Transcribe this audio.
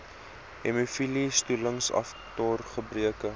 hemofilie stollingsfaktor gebreke